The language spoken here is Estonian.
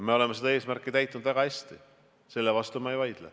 Me oleme seda eesmärki täitnud väga hästi, selle vastu ma ei vaidle.